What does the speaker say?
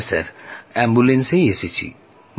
হ্যাঁ অ্যাম্বুলেন্সেই এসেছি